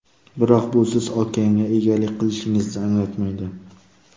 Biroq bu siz okeanga egalik qilishingizni anglatmaydi.